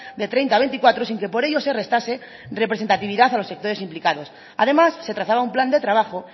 de treinta a veinticuatro sin que por ello se restase representatividad a los sectores implicados además se trazaba un plan de trabajo